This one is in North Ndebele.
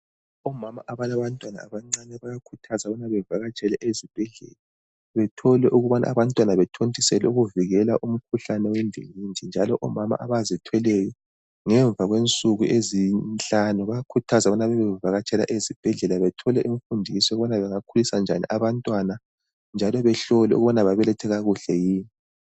Omama abalabantwana abancane bayakhuthazwa ukuba bevakatshele ezibhedlela bethole ukubana abantwana bethontiselwe ukuvikela umkhuhlane owendingindi njalo omama abazithweleyo ngemva kwensuku ezinhlanu bayakhuthazwa ukuba bavakatshele ezibhedlela bathole imfundiso ukubana bengakhulisa njani abantwana njalo behlolwe ukubana babelethe kakuhle yini.